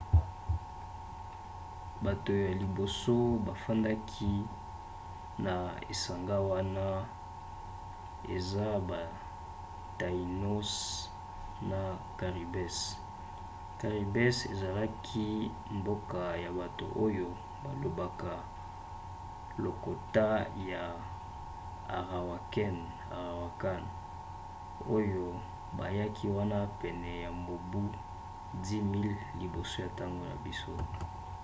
bato ya liboso bafandaki na esanga wana eza ba taínos na caribes. caribes ezalaki mboka ya bato oyo balobaka lokota ya arawakan oyo bayaki wana pene ya mobu 10 000 liboso ya ntango na biso